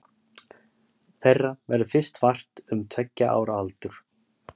Þeirra verður fyrst vart um tveggja ára aldur.